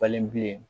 Falen bilen